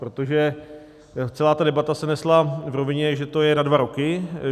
Protože celá ta debata se nesla v rovině, že to je na dva roky.